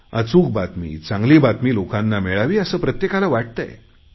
अचूक बातमी चांगली बातमी लोकांना मिळावी असे प्रत्येकाला वाटतंय